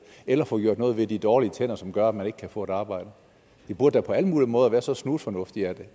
eller få gjort noget ved de dårlige tænder som gør at man ikke kan få et arbejde det burde på alle mulige måder være så snusfornuftigt at